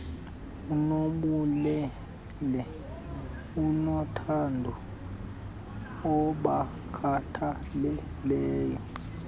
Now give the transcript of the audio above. onobubele onothando obakhathalelayo